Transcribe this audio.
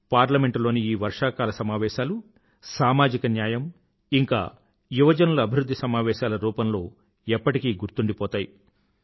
parliament లోని ఈ వర్షాకాల సమావేశాలు సామాజిక న్యాయం ఇంకా యువజనుల అభివృధ్ధి సమావేశాల రూపంలో ఎప్పటికీ గుర్తుండిపోతాయి